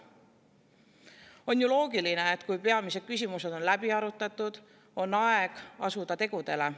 On ju loogiline, et kui peamised küsimused on läbi arutatud, on aeg asuda tegudele.